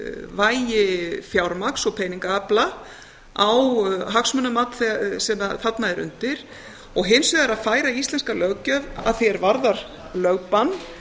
vægi fjármagns og peningaafla á hagsmunamat sem þarna er undir og hins vegar að færa íslenska löggjöf að því er varðar lögbann